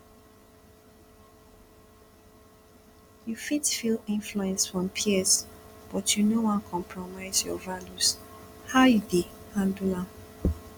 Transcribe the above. you fit feel influence from peers but you no want compromise your values how you dey handle am